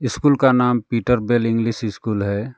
School का नाम Peter Bell English school है।